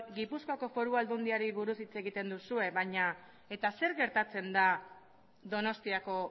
gipuzkoako foru aldundiari buruz hitz egiten duzue baina zer gertatzen da donostiako